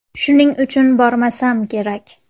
Shuning uchun bormasam kerak.